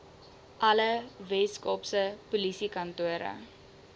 alle weskaapse polisiekantore